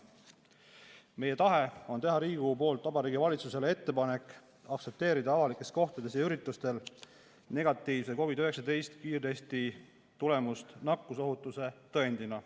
Meie tahe on teha Riigikogu poolt Vabariigi Valitsusele ettepanek aktsepteerida avalikes kohtades ja üritustel negatiivse COVID-19 kiirtesti tulemust nakkusohutuse tõendina.